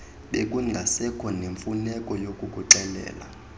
bekungasekho namfuneko yakukuxelela